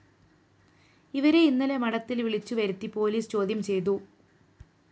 ഇവരെ ഇന്നലെ മഠത്തില്‍ വിളിച്ചുവരുത്തി പോലീസ് ചോദ്യം ചെയ്തു